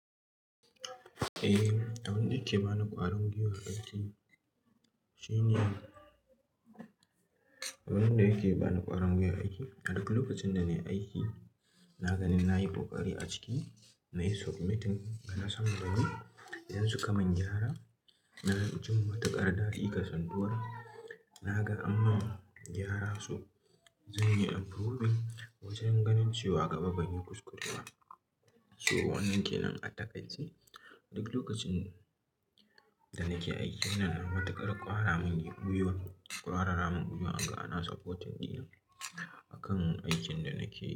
Eh, abin da yake bani ƙwarin gwuiwa aiki shine, abin da yake bani ƙwarin gwuiwa aiki a duk lokacin da nayi aiki na ga na yi kokari a ciki, nayi submitting, kana sai gani, idan suka mun gyara na ji matuƙar dalika sanduwar, na ga an ma gyara so, zan yi improving wajen ganin cewa gaba ban yi kuskure ba. So wannan kenan a takai ce, duk lokacin da nake aiki wannan matuƙar ƙwara mun gwuiwa ƙwara ramin gwuiwan ana supporting ɗina akan aikin da nake yi.